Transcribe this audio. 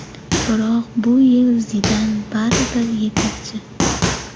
Biroq bu yil Zidan baribir yetakchi.